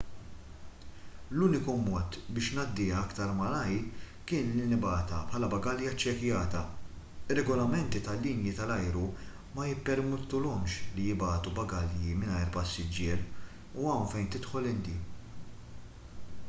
l-uniku mod biex ngħaddiha aktar malajr kien li nibgħatha bħala bagalja ċċekkjata ir-regolamenti tal-linji tal-ajru ma jippermettulhomx li jibagħtu bagalji mingħajr passiġġier u hawn fejn tidħol inti